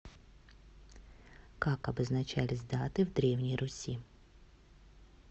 как обозначались даты в древней руси